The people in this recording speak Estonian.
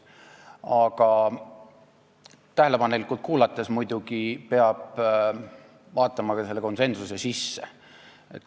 Aga peab muidugi vaatama seda, mis on selle konsensuse taga.